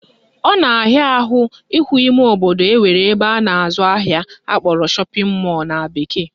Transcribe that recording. Ọ na-ahịa ahụ ịhụ ime obodo nwere ebe a na-azụ ahịa akpọrọ shopping mall na bekee